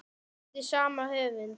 eftir sama höfund.